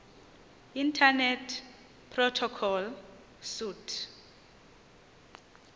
internet protocol suite